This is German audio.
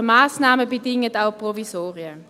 Die baulichen Massnahmen bedingen auch Provisorien.